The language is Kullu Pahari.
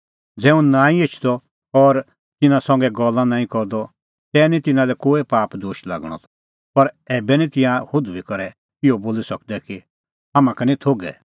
ज़ै हुंह नांईं एछदअ और तिन्नां संघै गल्ला नांईं करदअ तै निं तिन्नां लै कोई पाप दोश लागणअ त पर ऐबै निं तिंयां हुधूई करै इहअ बोली सकदै कि हाम्हां का निं थोघै